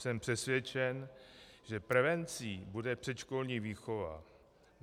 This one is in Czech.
Jsem přesvědčen, že prevencí bude předškolní výchova.